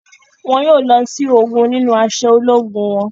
Wọn yóò lọ si ogún nínú aṣọ ológun wọn